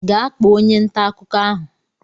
Gaa kpọọ onye ntà akụkọ ahụ!